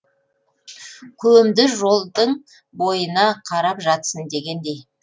көмді жолдың бойына қарап жатсын дегендей